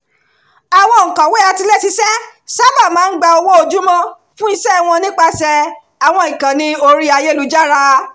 awọn òǹkọ̀wé àtiléṣiṣẹ́ sáábà máa ń gba owó ojúmọ́ fún iṣẹ́ wọn nípasẹ̀ àwọn ìkànnì orí ayélujára